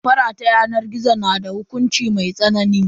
Damfara ta yanar gizo na da hukunci mai tsanani.